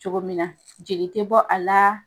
Cogo min na jeli tɛ bɔ a la.